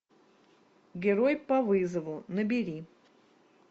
герой по вызову набери